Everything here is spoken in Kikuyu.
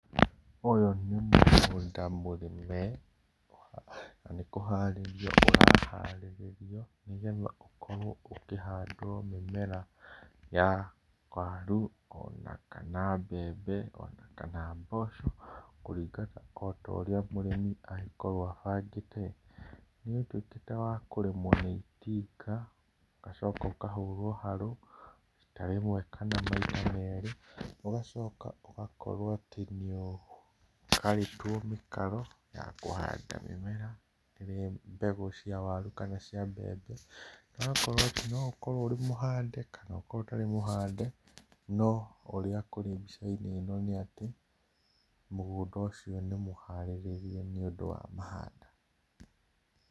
Ũyũ nĩ mũgũnda mũrĩme, na nĩkũharĩrio ũraharĩrĩrio nĩgetha ũkorwo ũkĩhandwo mĩmera ya waru, ona kana mbembe, ona kana mboco, kũringana otaũrĩa mũrĩmi angĩkorwo abangĩte. Nĩũndũ ti ta wakũrĩmwo nĩ itinga, ũgacoka ũkahũrwo harũ rita rĩmwe kana maita merĩ, ũgacoka ũgakorwo atĩ nĩũgaĩtwo mĩkaro ya kũhanda mĩmera ĩrĩa mbegũ cia waru kana cia mbembe, na ũgakorwo atĩ no ũkorwo ũrĩ mũhande kana ũkorwo ũtarĩ mũhande, no ũrĩa kũrĩ mbica-inĩ ĩno nĩatĩ, mũgũnda ũcio nĩmũharĩrĩrie nĩũndũ wa mahanda.